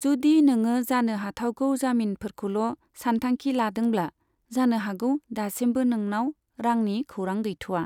जुदि नोङो जानो हाथावगौ जामिनफोरखौल' सानथांखि लादोंब्ला, जानो हागौ दासिमबो नोंनाव रांनि खौरां गैथ'वा।